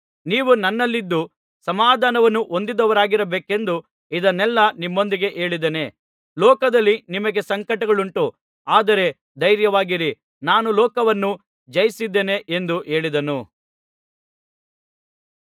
ನೀವು ನನ್ನಲ್ಲಿದ್ದು ಸಮಾಧಾನವನ್ನು ಹೊಂದಿದವರಾಗಿರಬೇಕೆಂದು ಇದನ್ನೆಲ್ಲಾ ನಿಮ್ಮೊಂದಿಗೆ ಹೇಳಿದ್ದೇನೆ ಲೋಕದಲ್ಲಿ ನಿಮಗೆ ಸಂಕಟಗಳುಂಟು ಆದರೆ ಧೈರ್ಯವಾಗಿರಿ ನಾನು ಲೋಕವನ್ನು ಜಯಿಸಿದ್ದೇನೆ ಎಂದು ಹೇಳಿದನು